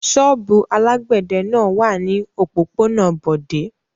Ṣọ́ọ́bù alágbẹ̀dẹ náà wà ní òpópónà Bọ̀dé.